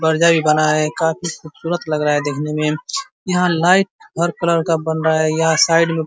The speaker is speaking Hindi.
बर्जा भी बना है। काफी खूबसूरत लग रहा है देखने में। यहाँ लाइट हर कलर का बन रहा है और साइड में --